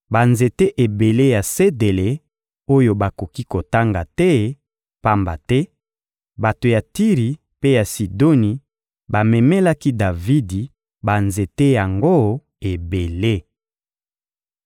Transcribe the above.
banzete ebele ya sedele oyo bakoki kotanga te, pamba te bato ya Tiri mpe ya Sidoni bamemelaki Davidi banzete yango ebele.